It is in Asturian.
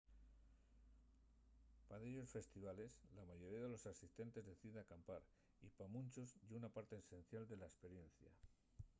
pa dellos festivales la mayoría de los asistentes decide acampar y pa munchos ye una parte esencial de la esperiencia